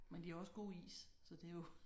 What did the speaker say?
Men de har også gode is så det er jo